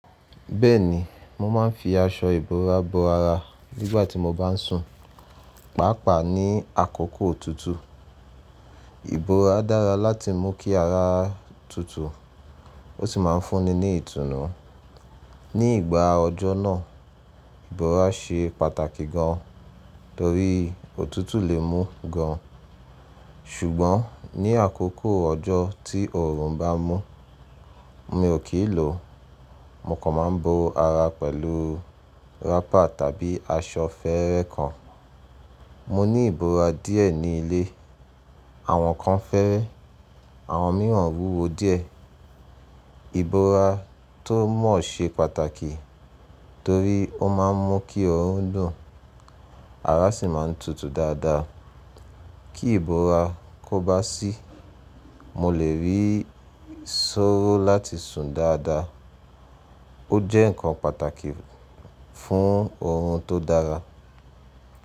Bẹ́ẹ̀ni, mo máa ń fi aṣọ ìbora bo ara nígbà tí mo bá ń sùn, pàápàá ní àkókò òtútù. Ìbora dára láti mú kí ara tútù, ó sì máa ń fúnni ní ìtùnú. Ni ìgbà ọjọ́ náà, ìbora ṣe pàtàkì gan, torí òtútù lè mú gan. Ṣùgbọ́n ní àkókò ọjọ́ tí òórùn bá mú, mi ò kí ń lò ó. Mo kàn máa ń bo ara pẹ̀lú wrapper tàbí aṣọ fẹ́ẹ́rẹ́ kan. Mo ní ìbora díẹ̀ ní ilé. Àwọn kan fẹ́ẹ́rẹ́, àwọn mìíràn wúwo díẹ̀. Ìbora tó ma ṣe pàtàkì torí ó máa ń mú kí ọrùn dùn, ara sì máa ń tutù dáadáa. Kí ìbora kó bá sí, mo lè rí sóró láti sùn dáadáa. Ó jẹ́ nǹkan pàtàkì fún oorun tó dára.